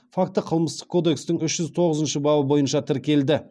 факті қылмыстық кодекстің үш жүз тоғызыншы бабы бойынша тіркелді